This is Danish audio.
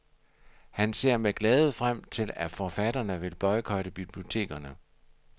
Han ser med glæde frem til, at forfatterne vil boykotte bibliotekerne,.